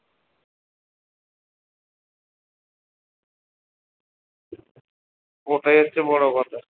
ওটাই হচ্ছে বড় কথা